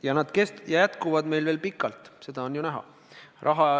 Ja need püsivad meil veel pikalt, seda on ju näha.